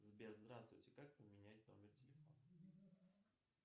сбер здравствуйте как поменять номер телефона